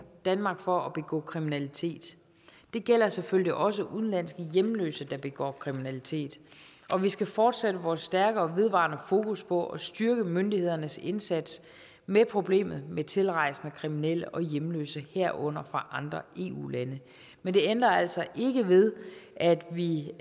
danmark for at begå kriminalitet det gælder selvfølgelig også udenlandske hjemløse der begår kriminalitet og vi skal fortsætte vores stærke og vedvarende fokus på at styrke myndighedernes indsats med problemet med tilrejsende kriminelle og hjemløse herunder fra andre eu lande men det ændrer altså ikke ved at vi